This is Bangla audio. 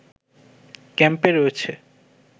ক্যাম্পে রয়েছে